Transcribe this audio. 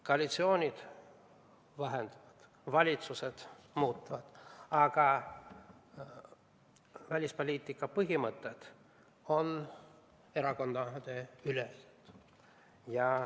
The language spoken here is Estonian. Koalitsioonid vahetuvad, valitsused muutuvad, aga välispoliitika põhimõtted on erakondadeülesed.